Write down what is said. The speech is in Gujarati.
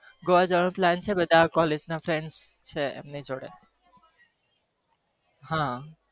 Goa જવાનો plan છે બધાં collge ના friend છે એમના જોડે હા